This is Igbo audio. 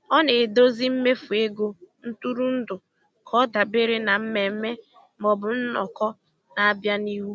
Ọ na-edozi mmefu ego ntụrụndụ ka ọ dabere na mmemme maọbụ nnọkọ na-abịanụ.